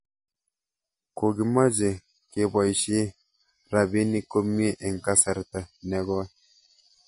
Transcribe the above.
Ko kimache kepoishe rabinik komie eng' kasarta ne koi